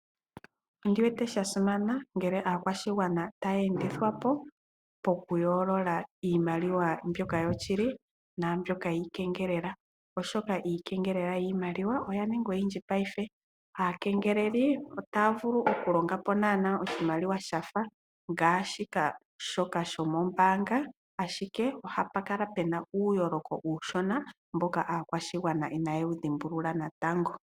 Oshasimana ngele aakwashigwana ta yeendithwapo piimaliwa ndjoka yoshili naandji yiikengelela, oshoka iikengelela yiimaliwa oya ninga oyindji payife. Aakengeleli otaa vulu okulonga po oshimaliwa shafa shoka shomombanga ashike ohapukala uuyoloko uushona mbono aakwashigwana ina ye wuyolola natango.